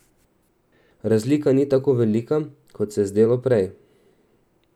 Razlika ni tako velika, kot se je zdelo prej.